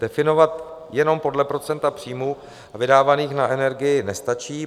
Definovat jenom podle procenta příjmů vydávaných na energii nestačí.